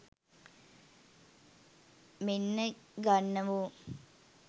මෙන්න ගන්නවො